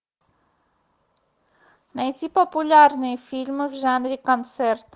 найти популярные фильмы в жанре концерт